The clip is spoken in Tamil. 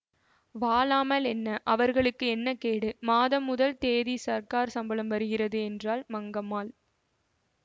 வாழாமல் என்ன அவர்களுக்கு என்ன கேடு மாதம் முதல் தேதி சர்க்கார் சம்பளம் வருகிறது என்றாள் மங்கம்மாள்